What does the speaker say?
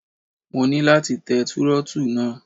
Mo ní láti tẹ Túrọ́tù náà.